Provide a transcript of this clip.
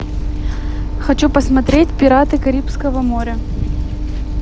хочу посмотреть пираты карибского моря